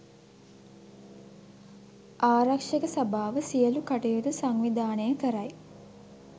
ආරක්ෂක සභාව සියලු කටයුතු සංවිධානය කරයි